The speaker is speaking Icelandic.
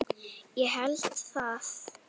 Ég held það.